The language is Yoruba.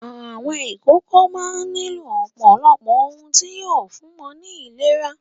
Àwọn ìkókó máa ń nílò ọ̀pọ̀lọpọ̀ ohun tí yóò fún wọn ní ìlera.